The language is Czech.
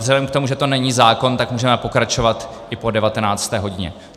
Vzhledem k tomu, že to není zákon, tak můžeme pokračovat i po 19. hodině.